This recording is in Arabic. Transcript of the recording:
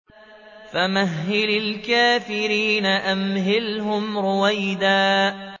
فَمَهِّلِ الْكَافِرِينَ أَمْهِلْهُمْ رُوَيْدًا